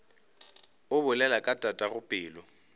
o bolela ka tatago pelo